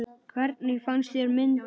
Hvernig fannst þér myndin?